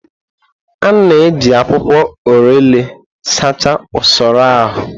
A na-eji akwụkwọ orelè sachaa usoro ahụ.